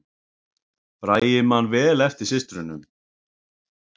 Bragi man vel eftir systrunum